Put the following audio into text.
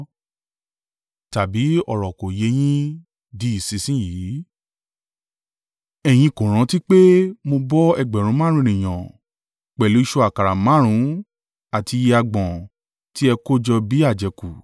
Tàbí ọ̀rọ̀ kò yé yín di ìsinsin yìí? Ẹ̀yin kò rántí pé mo bọ́ ẹgbẹ̀rún márùn-ún (5,000) ènìyàn pẹ̀lú ìṣù àkàrà márùn-ún àti iye agbọ̀n tí ẹ kójọ bí àjẹkù?